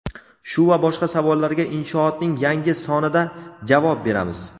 Shu va boshqa savollarga Inshoot’ning yangi sonida javob beramiz.